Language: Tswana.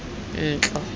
ntlo